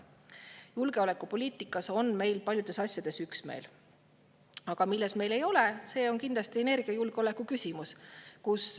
Julgeolekupoliitikas on meil paljudes asjades üksmeel, aga milles ei ole, see on kindlasti energiajulgeoleku küsimus.